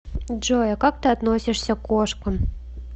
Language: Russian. джой а как ты относишься к кошкам